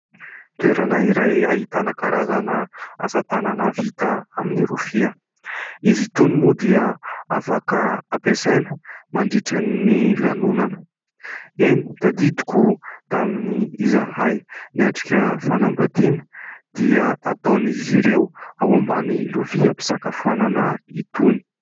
Toerana iray ahitana karazana asa tanana vita amin'ny rofia. Izy itony moa dia afaka ampiasaina mandritra ny lanonana. Eny tadidiko tamin'ny izahay niatrika fanambadiana dia ataon'izy ireo ao ambanin'ny lovia fisakafoana itony.